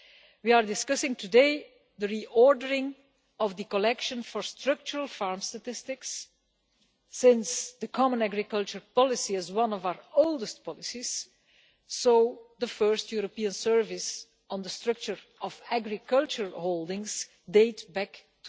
We are discussing today the re ordering of the collection of data for structural farm statistics, since the common agricultural policy is one of our oldest policies and the first European service on the structure of agricultural holdings dates back to